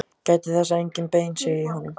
Gætið þess að engin bein séu í honum.